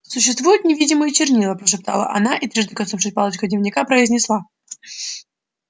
существуют невидимые чернила прошептала она и трижды коснувшись палочкой дневника произнесла